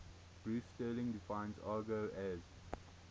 bruce sterling defines argot as